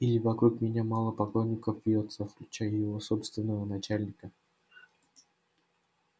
или вокруг меня мало поклонников вьётся включая его собственного начальника